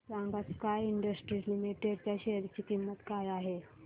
सांगा sky industries limited च्या share ची किंमत काय आहे